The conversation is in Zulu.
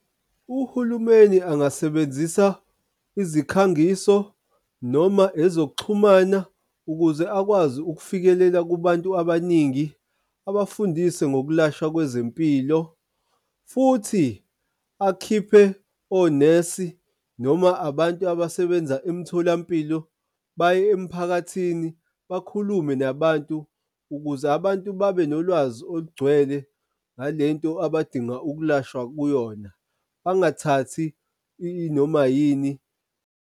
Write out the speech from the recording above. Uhulumeni angasebenzisa izikhangiso noma ezokuxhumana ukuze akwazi ukufikelela kubantu abaningi abafundise ngokwelashwa kwezempilo, futhi akhiphe onesi noma abantu abasebenza emtholampilo baye emphakathini bakhulume nabantu, ukuze abantu babe nolwazi olugcwele ngale nto abadinga ukulashwa kuyona bangathathi inoma yini.